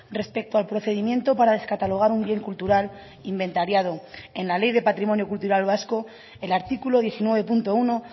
respecto al procedimiento para descatalogar un bien cultural inventariado en la ley de patrimonio cultural vasco el artículo diecinueve punto uno